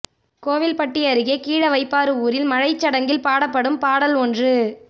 கோவில்பட்டி அருகே கீழ வைப்பாறு ஊரில் மழைச் சடங்கில் பாடப்படும் பாடல் ஒன்று